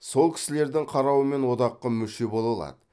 сол кісілірдің қарауымен одаққа мүше бола алады